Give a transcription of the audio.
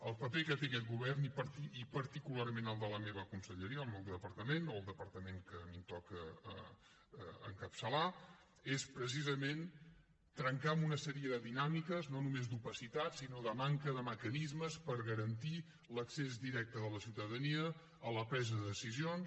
el paper que té aquest govern i particularment el de la meva conselleria el meu departament o el departament que a mi em toca encapçalar és precisament trencar amb una sèrie de dinàmiques no només d’opacitat sinó de manca de mecanismes per garantir l’accés directe de la ciutadania a la presa de decisions